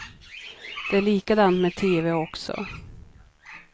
Det är likadant med tv också.